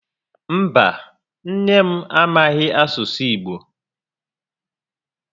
Mba, nne m a maghị asụ Igbo